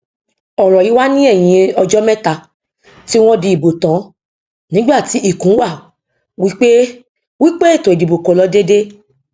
ọrọ yí wà ní ẹyìn ọjọ mẹta tí wọn dì ìbò tàn nígbà tí ikùn wá wípé wípé ètò ìdìbò kò lọ dédé